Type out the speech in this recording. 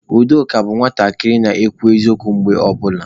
Udoka bụ nwatakịrị na-ekwu eziokwu mgbe ọ bụla.